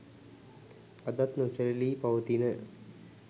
අදත් නොසැලී පවතින